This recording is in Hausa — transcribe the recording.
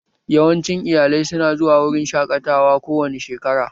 Yawancin iyalai su na zuwa wurin shaƙatawa kowane shekara